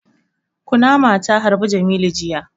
Kunama ta harbi jamilu jiya